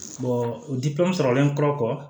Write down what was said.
o sɔrɔlen kɔ